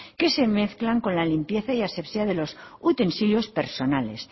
que se mezclan con la limpieza y asepsia de los utensilios personales